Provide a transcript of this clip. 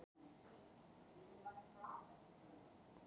Helgi byrjar að leita í stórum plötustafla á hillu undir fóninum.